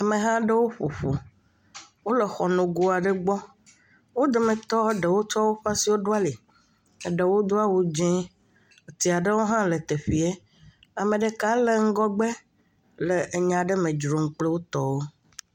Ameha aɖewo ƒoƒu. Wòle xɔ nogo aɖe gbɔ. Wo dometɔ ɖewo tsɔ woƒe asiwò ɖo ali. Eɖewo Do awu dzɛ. Atia ɖewo hã le teƒea. Ame ɖeka le ŋgɔgbe le enya ɖe me dzrom kple wo tɔwo.